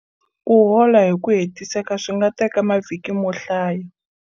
Ku hola hi ku hetiseka swi nga teka mavhiki mo hlaya.